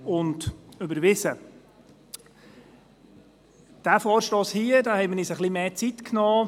Für diesen Vorstoss hier haben wir uns etwas mehr Zeit genommen.